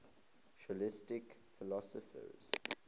scholastic philosophers